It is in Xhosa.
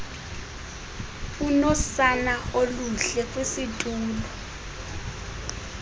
unosana olulele kwisitulo